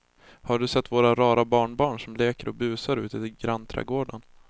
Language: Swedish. Har du sett våra rara barnbarn som leker och busar ute i grannträdgården!